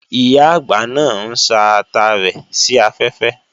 Ìyá-àgbà náà ń sá ata rẹ̀ sí afẹ́fẹ́